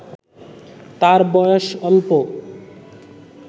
তার বয়স অল্প